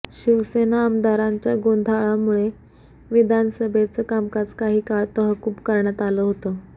शिवसेना आमदारांच्या गोंधळामुळे विधानसभेचं कामकाज काही काळ तहकूब करण्यात आलं होतं